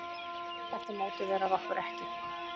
Þetta mótiverar okkur ekki.